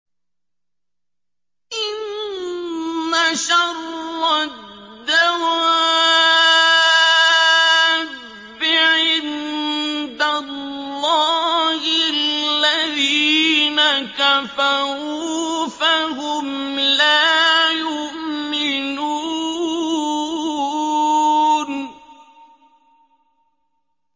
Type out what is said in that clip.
إِنَّ شَرَّ الدَّوَابِّ عِندَ اللَّهِ الَّذِينَ كَفَرُوا فَهُمْ لَا يُؤْمِنُونَ